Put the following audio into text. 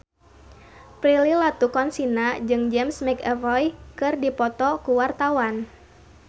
Prilly Latuconsina jeung James McAvoy keur dipoto ku wartawan